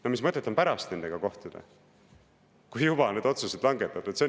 No mis mõtet on pärast nendega kohtuda, kui otsused on juba langetatud!